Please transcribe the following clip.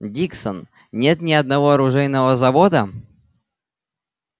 диксон нет ни одного оружейного завода